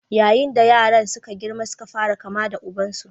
Yayin da yaran suka girma suka fara kama da ubansu.